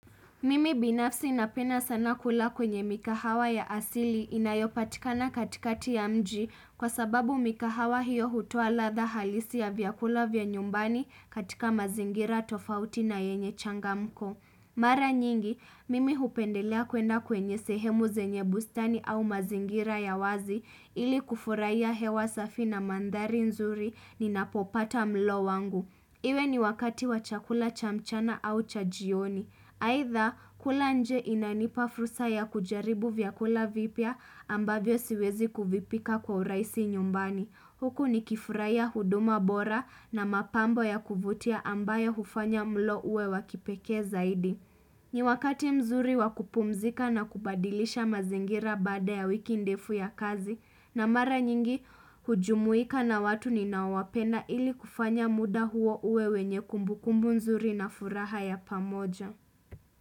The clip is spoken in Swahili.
Mimi binafsi napenda sana kula kwenye mikahawa ya asili inayopatikana katikati ya mji kwa sababu mikahawa hiyo hutoa ladha halisi ya vyakula vya nyumbani katika mazingira tofauti na yenye changamko. Mara nyingi, mimi hupendelea kwenda kwenye sehemu zenye bustani au mazingira ya wazi ili kufuraia hewa safi na mandari nzuri ninapopata mlo wangu. Iwe ni wakati wa chakula cha mchana au cha jioni. Aidha, kula nje inanipa fursa ya kujaribu vyakula vipya ambavyo siwezi kuvipika kwa urahisi nyumbani. Huku nikifurahia huduma bora na mapambo ya kuvutia ambayo hufanya mlo uwe wakipekee zaidi. Ni wakati mzuri wakupumzika na kubadilisha mazingira baada ya wiki ndefu ya kazi na mara nyingi hujumuika na watu ninaowapenda ili kufanya muda huo uwe wenye kumbukumbu mzuri na furaha ya pamoja.